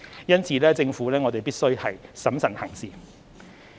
因此，政府必須審慎行事。